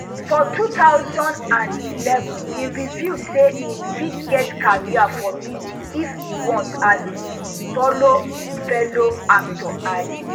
for two thousand and eleven e reveal say im fit get career for music if e want as e follow fellow actor and